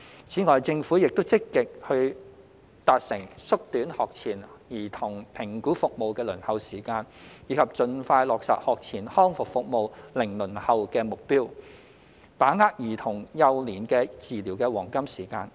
此外，政府亦正積極達成縮短學前兒童評估服務的輪候時間，以及盡快落實學前康復服務"零輪候"的目標等，把握兒童幼年的治療黃金時間。